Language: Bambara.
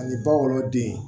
Ani ba wolo den